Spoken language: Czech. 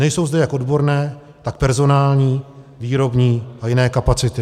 Nejsou zde jak odborné, tak personální, výrobní a jiné kapacity.